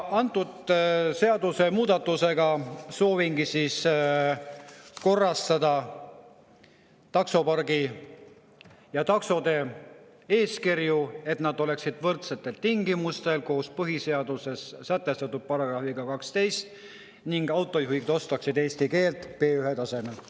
Antud seadusemuudatusega soovingi korrastada taksopargi ja taksode eeskirju, et need oleksid võrdsetel tingimustel sätestatud kõigile, lähtudes põhiseaduse §‑st 12, ning autojuhid oskaksid eesti keelt B1-tasemel.